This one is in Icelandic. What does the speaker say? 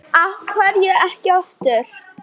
Af hverju ekki aftur?